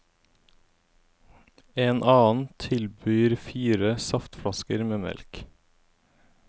En annen tilbyr fire saftflasker med melk.